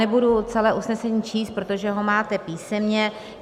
Nebudu celé usnesení číst, protože ho máte písemně.